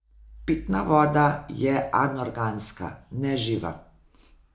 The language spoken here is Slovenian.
Pitna voda je anorganska, neživa.